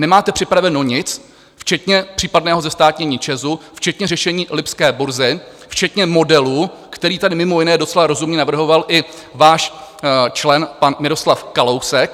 Nemáte připraveno nic, včetně případného zestátnění ČEZu, včetně řešení lipské burzy, včetně modelu, který tady mimo jiné docela rozumně navrhoval i váš člen pan Miroslav Kalousek.